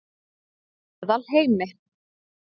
Meðalheimi